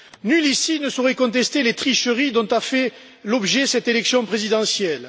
Nul ici ne saurait contester les tricheries dont a fait l'objet cette élection présidentielle.